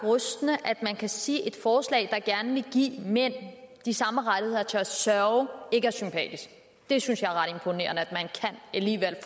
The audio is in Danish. rystende at man kan sige at et forslag der gerne vil give mænd de samme rettigheder til at sørge ikke er sympatisk jeg synes alligevel det